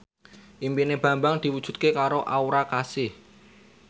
impine Bambang diwujudke karo Aura Kasih